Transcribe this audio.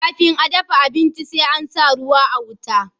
kafin a dafa abinci sai an sa ruwa a wuta